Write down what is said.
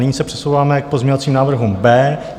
Nyní se přesouváme k pozměňovacím návrhům B.